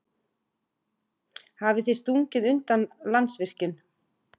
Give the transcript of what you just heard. Hafið þið stungið undan Landsvirkjun?